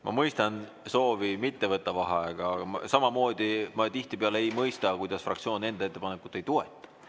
Ma mõistan soovi mitte võtta vaheaega, aga samamoodi ma tihtipeale ei mõista, kuidas fraktsioon enda ettepanekut ei toeta.